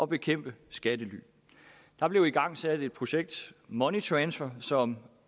bekæmpe skattely der blev igangsat et projekt money transfer som